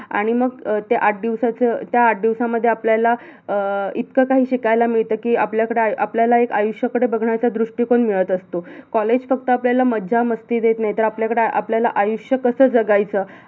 आणि मग त्या आठ दिवसाच, त्या आठ दिवसामध्ये आपल्याला अं इतक काही शिकायला मिळत कि, आपल्याकडे आपल्याला एक आयुष्य, आयुष्याकडे बघण्याचा दृष्टीकोन मिळत असतो college फक्त आपल्याला मज्जा, मस्ती देत नाही तर आपल्याला आयुष्य कस जगायचं